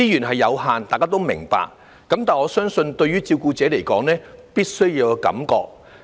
大家都明白資源有限，但我相信對照顧者來說，必須要有感覺。